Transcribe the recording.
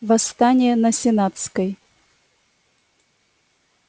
восстание на сенатской